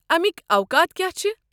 امِکۍ اوقات كیاہ چھِ؟